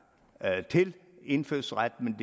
til indfødsret men